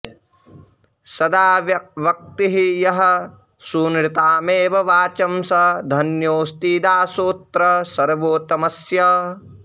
सदा वक्ति यः सूनृतामेव वाचं स धन्योऽस्ति दासोऽत्र सर्वोत्तमस्य